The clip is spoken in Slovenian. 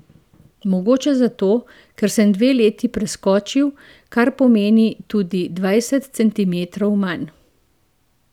Mogoče zato, ker sem dve leti preskočil, kar pomeni tudi dvajset centimetrov manj.